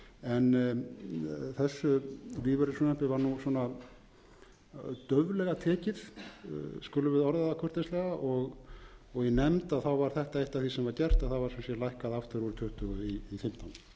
en þessu lífeyrisfrumvarpi var svona dauflega tekið skulum við orða það kurteislega og í nefnd var þetta eitt af því sem var gert það var sum sé lækkað aftur úr tuttugu í fimmtán ég